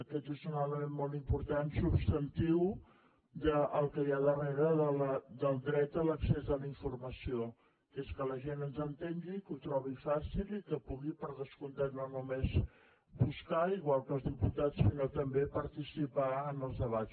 aquest és un element molt important substantiu del que hi ha darrere del dret a l’accés de la informació que és que la gent ens entengui que ho trobi fàcil i que pugui per descomptat no només buscar igual que els diputats sinó també participar en els debats